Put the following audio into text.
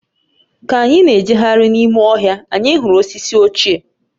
Ka anyị na-ejegharị n’ime ọhịa, anyị hụrụ osisi ochie